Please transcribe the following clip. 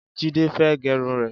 Jide fẹ̀ gẹrún rẹ